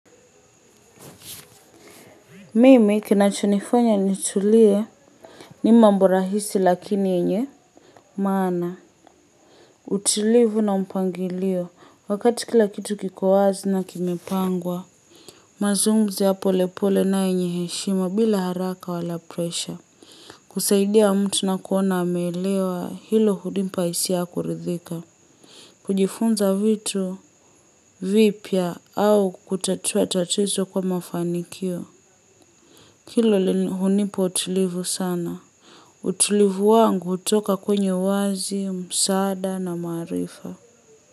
Mimi kinachonifanya nitulie ni mambo rahisi lakini yenye, maana, utulivu na mpangilio wakati kila kitu kiko wazi na kimepangwa. Mazungumzo ya polepole na yenye heshima bila haraka wala presha. Kusaidia mtu na kuona ameelewa hilo hunipa hisia ya kuridhika. Kujifunza vitu vipya au kutatua tatizo kwa mafanikio. Hilo hunipa utulivu sana. Utulivu wangu hutoka kwenyeu wazi, msaada na maaarifa.